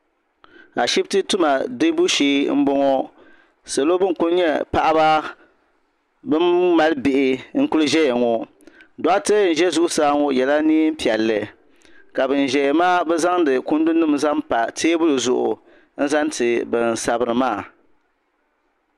Ashibiti tima diɛbu shɛɛ n bɔŋɔ salo bini kuli nyɛ paɣiba bini mali bihi n kuli zɛya ŋɔ dɔɣitɛ n zɛ zuɣusaa ŋɔ o yɛla nɛɛn piɛlli ka bini zaya maa bi zaŋdi kundu nima n pa tɛɛbuli zuɣu n zaŋ ti bini sabiri maa.